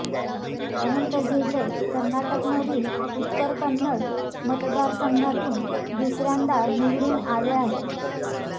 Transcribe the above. अनंत हेगडे कर्नाटकमधील उत्तर कन्नड मतदारसंघातून दुसऱ्यांदा निवडून आले आहेत